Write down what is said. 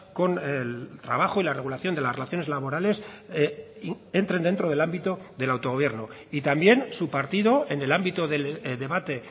con el trabajo y la regulación de las relaciones laborales entren dentro del ámbito del autogobierno y también su partido en el ámbito del debate